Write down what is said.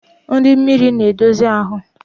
Nri mmiri na-edozi ahụ.